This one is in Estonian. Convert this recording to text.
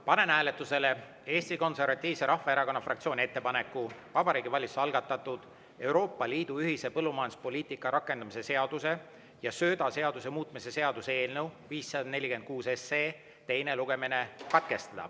Panen hääletusele Eesti Konservatiivse Rahvaerakonna fraktsiooni ettepaneku Vabariigi Valitsuse algatatud Euroopa Liidu ühise põllumajanduspoliitika rakendamise seaduse ja söödaseaduse muutmise seaduse eelnõu 546 teine lugemine katkestada.